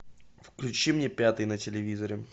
включи мне пятый на телевизоре